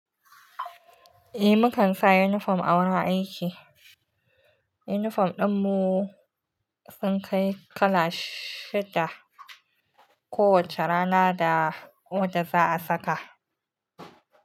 Eh, mukan sa yinifom a wurin aiki. Yinifom din mu sun kai kala shida, kowacce rana da wadda za a saka.